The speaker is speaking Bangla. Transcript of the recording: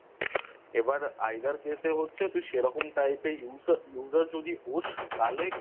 এবার Either Case এ হচ্ছে তুই সেরকম Type এর User যদি হোস তাহলে